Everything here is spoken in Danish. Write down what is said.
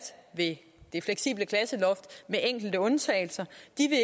ved det fleksible klasseloft med enkelte undtagelser